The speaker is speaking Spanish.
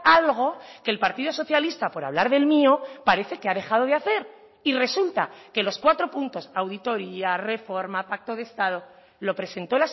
algo que el partido socialista por hablar del mío parece que ha dejado de hacer y resulta que los cuatro puntos auditoria reforma pacto de estado lo presentó